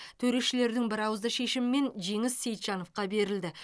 төрешілердің бірауызды шешімімен жеңіс сейітжановқа берілді